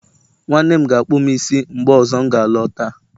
nwanne m ga-akpụ m isi mgbe ọzọ m ga alọta